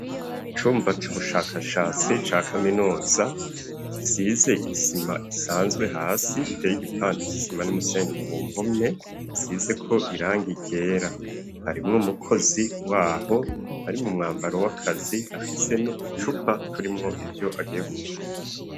Icumba c'ubushakashatsi ca kaminuza. Gisize isima isanzwe hasi giteye gipande isima numusenyi ku mpome isize ko irangi ryera. Harimwo mukozi waho ari mu mwambaro w'akazi afise no ducupa turimwo ivyo agiye gupima.